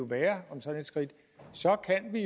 være om sådan et skridt så kan vi